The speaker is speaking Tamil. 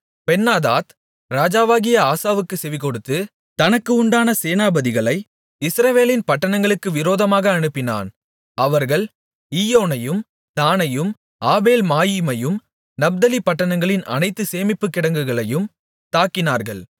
பென்னாதாத் ராஜாவாகிய ஆசாவுக்கு செவிகொடுத்து தனக்கு உண்டான சேனாபதிகளை இஸ்ரவேலின் பட்டணங்களுக்கு விரோதமாக அனுப்பினான் அவர்கள் ஈயோனையும் தாணையும் ஆபேல்மாயீமையும் நப்தலி பட்டணங்களின் அனைத்து சேமிப்புக் கிடங்குகளையும் தாக்கினார்கள்